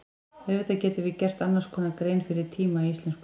Auðvitað getum við gert annars konar grein fyrir tíma í íslensku.